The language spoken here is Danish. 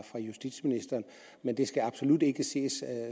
fra justitsministeren men det skal absolut ikke ses